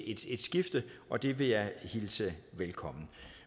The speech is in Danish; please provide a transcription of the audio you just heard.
et skifte og det vil jeg hilse velkommen